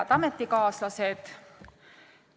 Head ametikaaslased!